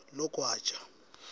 logwaja